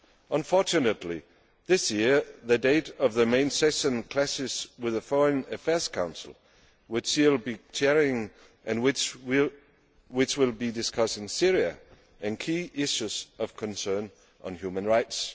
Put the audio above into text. Unfortunately, this year the date of the main session clashes with the Foreign Affairs Council, which she will be chairing and which will be discussing Syria and key issues of concern on human rights.